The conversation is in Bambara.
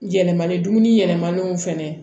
Yɛlɛmali dumuni yɛlɛmannenw fɛnɛ